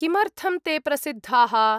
किमर्थं ते प्रसिद्धाः?